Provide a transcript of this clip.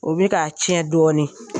O bɛ ka tiɲɛ dɔɔnin